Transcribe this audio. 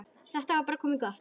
Þetta var bara komið gott.